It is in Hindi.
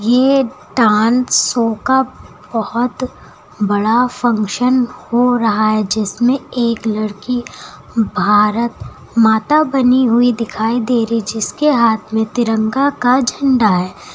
ये डांस शो का बहुत बड़ा फंक्शन हो रहा है जिसमें एक लड़की भारत माता बनी हुई दिखाई दे रही जिसके हाथ में तिरंगा का झंडा है।